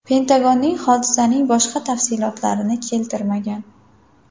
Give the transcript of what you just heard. Pentagonning hodisaning boshqa tafsilotlarini keltirmagan.